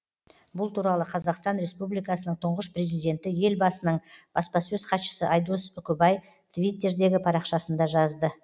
бұл туралы қазақстан республикасының тұңғыш президенті елбасының баспасөз хатшысы айдос үкібай твиттірдегі парақшасында жазды